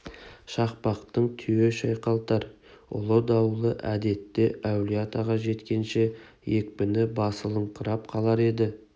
шақпақтың түйе шайқалтар ұлы дауылы әдетте әулие-атаға жеткенше екпіні басылыңқырап қалар еді